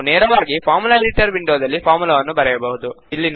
ನಾವು ನೇರವಾಗಿ formula editor ವಿಂಡೋದಲ್ಲಿ ಫಾರ್ಮುಲಾವನ್ನು ಬರೆಯಬಹುದು